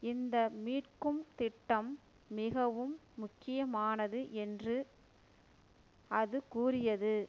இந்த மீட்கும் திட்டம் மிகவும் முக்கியமானது என்று அது கூறியது